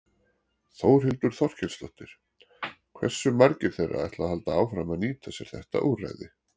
Þórhildur Þorkelsdóttir: Hversu margir þeirra ætla að halda áfram að nýta sér þetta úrræði?